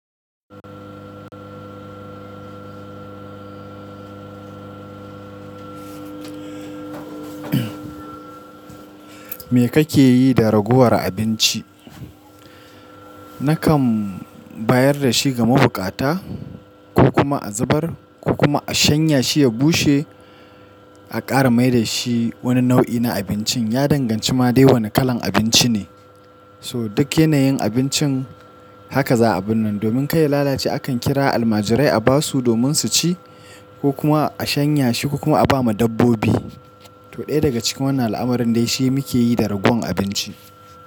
Me kake yi da ragowar abinci? Nakan bayar da shi ga mabukata ko kuma a zubar, ko kuma a shanya shi ya bushe a ƙara mai da shi wani nau'i na abincin. Ya danganci ma dai wane kalan abinci ne. So duk yanayin abincin haka za a binne. Domin kai lalace akan kira almajirai a basu domin su ci, ko kuma a shanya shi ko kuma a ba ma dabbobi. To ɗaya daga cikin wannan al'amuran dai shi muke yi da ragowan abinci.